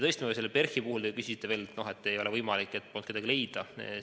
PERH-i puhul te küsisite veel, et ei ole võimalik, et polnud kedagi teist leida.